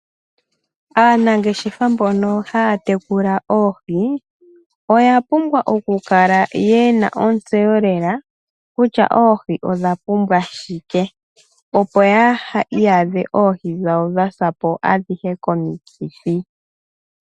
Aanangeshefa mbono haya tekula oohi oya pumbwa okukala yena ontseyo lela kutya oohi odha pumbwa shike. Opo yaa iyadhe oohi dhawo dhasapo adhihe komikithi.